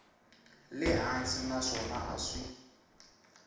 le hansi naswona a swi